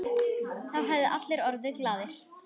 Þá hefðu allir orðið glaðir.